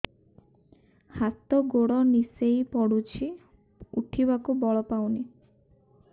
ହାତ ଗୋଡ ନିସେଇ ପଡୁଛି ଉଠିବାକୁ ବଳ ପାଉନି